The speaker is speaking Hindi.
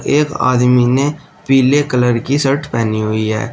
एक आदमी ने पीले कलर की शर्ट पहनी हुई है।